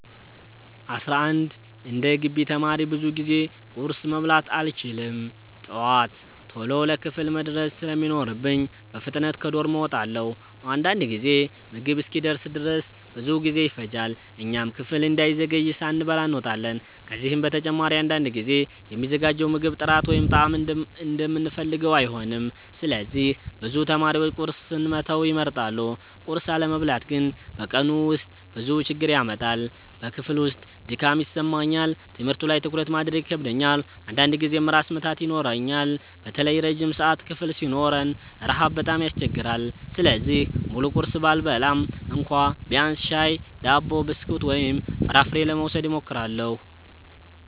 11እንደ ግቢ ተማሪ ብዙ ጊዜ ቁርስ መብላት አልችልም። ጠዋት ቶሎ ለክፍል መድረስ ስለሚኖርብኝ በፍጥነት ከዶርም እወጣለሁ። አንዳንድ ጊዜ ምግብ እስኪደርስ ድረስ ብዙ ጊዜ ይፈጃል፣ እኛም ክፍል እንዳንዘገይ ሳንበላ እንወጣለን። ከዚህ በተጨማሪ አንዳንድ ጊዜ የሚዘጋጀው ምግብ ጥራት ወይም ጣዕም እንደምንፈልገው አይሆንም፣ ስለዚህ ብዙ ተማሪዎች ቁርስን መተው ይመርጣሉ። ቁርስ አለመብላት ግን በቀኑ ውስጥ ብዙ ችግር ያመጣል። በክፍል ውስጥ ድካም ይሰማኛል፣ ትምህርቱ ላይ ትኩረት ማድረግ ይከብደኛል፣ አንዳንድ ጊዜም ራስ ምታት ይኖረኛል። በተለይ ረጅም ሰዓት ክፍል ሲኖረን ረሃብ በጣም ያስቸግራል። ስለዚህ ሙሉ ቁርስ ባልበላም እንኳ ቢያንስ ሻይ፣ ዳቦ፣ ብስኩት ወይም ፍራፍሬ ለመውሰድ እሞክራለሁ።